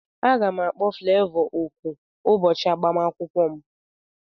Aga m akpọ Flevọ oku ụbọchị agbamakwụkwọ m